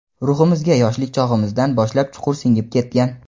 ruhimizga yoshlik chog‘imizdan boshlab chuqur singib ketgan.